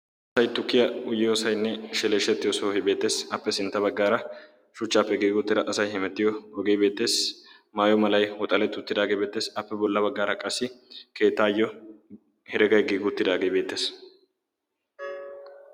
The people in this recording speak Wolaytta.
Asay tukkiya uyyeyoosainne sheleeshshettiyo sohoy beettees. Appe sintta baggaara shuchchaappe giigi uttida asay hemettiyo ogee beettees. Maayo malay woxaleti uttidaagee beettees. Appe bolla baggaara qassi keetaayyo heregay giigi uttidaagee beettees.